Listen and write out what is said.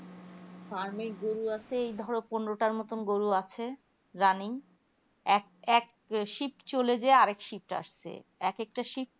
farm এ গরু আছে এই ধরো পনেরোটা মতো গরু আছে running এক এক শীত চলে যেয়ে আর এক শীত আসছে এক একটা শীত